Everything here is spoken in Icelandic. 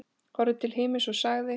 Horfði til himins og sagði